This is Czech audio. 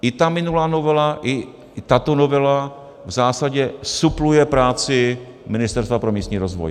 I ta minulá novela i tato novela v zásadě supluje práci Ministerstva pro místní rozvoj.